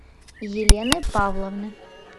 елены павловны